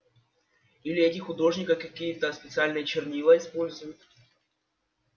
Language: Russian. или эти художники какие-то специальные чернила используют